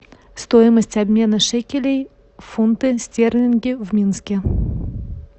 стоимость обмена шекелей в фунты стерлинги в минске